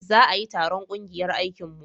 za a yi taron ƙungiyar aikin mu